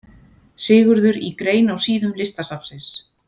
Sigurður í grein á síðum Listasafnsins.